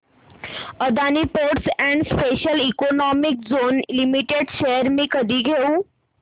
Adani ports and special economic zone limited shares मी कधी घेऊ